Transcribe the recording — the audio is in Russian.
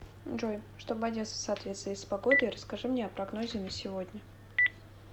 джой чтобы одеться в соответствии с погодой расскажи мне о прогнозе на сегодня